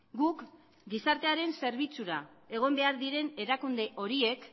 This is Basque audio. guk gizartearen zerbitzura egon behar diren erakunde horiek